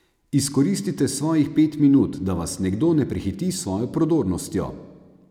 Izkoristite svojih pet minut, da vas nekdo ne prehiti s svojo prodornostjo.